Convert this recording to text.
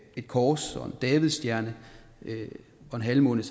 et kors og en davidsstjerne og en halvmåne